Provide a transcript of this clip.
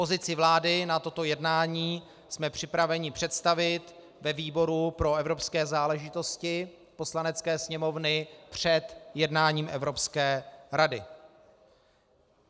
Pozici vlády na toto jednání jsme připraveni představit ve výboru pro evropské záležitosti Poslanecké sněmovny před jednáním Evropské rady.